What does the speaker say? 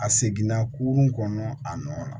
A seginna kurun kɔnɔ a nɔ na